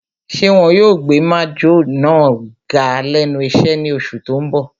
Ṣé wọn yóò gbé májọ̀ náà ga lẹ́nu iṣẹ́ ní oṣù tó n bọ̀?